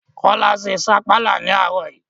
Kọ́lá se sapala ní àárọ̀ yii